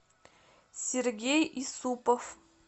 сергей исупов